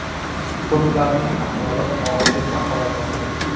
Ko‘plarning ahvoli og‘ir deb baholanmoqda.